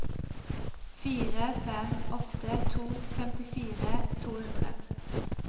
fire fem åtte to femtifire to hundre